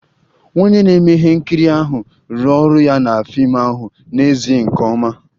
Onye na-eme ihe nkiri ahụ rụrụ ọrụ ya na fim ahụ n'ezie nke ọma